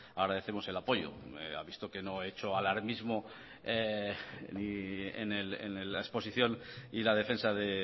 agradecemos el apoyo ha visto que no he hecho alarmismo en la exposición y la defensa de